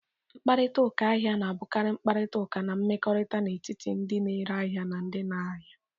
Mkparịta ụka ahịa na-abụkarị mkparịta ụka na mmekọrịta n'etiti ndị na-ere ahịa na ndị ahịa.